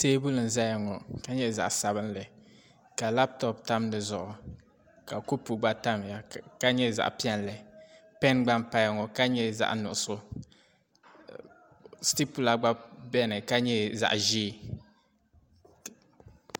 teebuli n-zaya ŋɔ ka nye zaɣ'sabinli ka lapitopu tam di zuɣu ka kopu gba tamya ka nye zaɣ'piɛlli pen gba n-paya ŋɔ ka nye zaɣ'nuɣuso sitipula gba beni ka nye zaɣ'ʒee